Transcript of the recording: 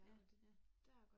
Ja, ja